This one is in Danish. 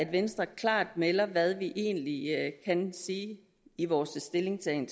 venstre klart melder hvad vi egentlig kan sige i vores stillingtagen